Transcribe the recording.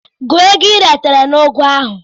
Gụọ ego i retara na ugu ahụ!